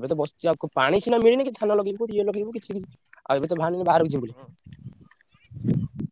ଏବେତ ବସଚି ଆଉ ପାଣି ସିନା ମିଳିନି କି କିଛି ନାହିଁ। ଆଉ ଏବେତ ବାହାରିଲୁଣି ବାହାରକୁ ଯିବୁ ବୋଲି।